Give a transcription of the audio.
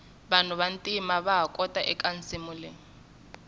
vanhu va ntima vaha xota eka nsimu leyi